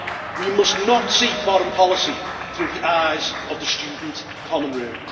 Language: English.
We must not see foreign policy through the eyes of the student common room.